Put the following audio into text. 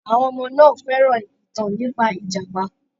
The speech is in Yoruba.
Àwọn ọmọ náà fẹ́ràn ìtàn nípa ìjàpá.